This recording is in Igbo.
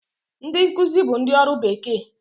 Ndị nkuzi bụ ndị ọrụ bekee